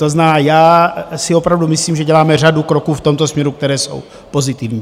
To znamená, já si opravdu myslím, že děláme řadu kroků v tomto směru, které jsou pozitivní.